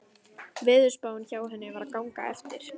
Veðurspáin hjá henni var að ganga eftir.